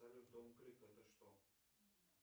салют дом клик это что